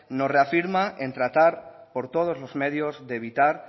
nos reafirma en tratar por todos los medios de evitar